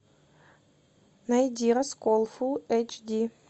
найди раскол фул эйч ди